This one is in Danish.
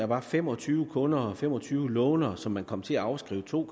var fem og tyve kunder fem og tyve låntagere som man kom til at afskrive to